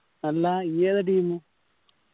അല്ല ഇയ്യ്‌ ഇതാ team